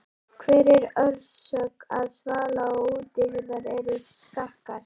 Hver er orsök þess að svala- og útihurðir eru skakkar?